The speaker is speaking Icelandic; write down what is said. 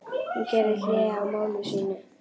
Hún gerði hlé á máli sínu.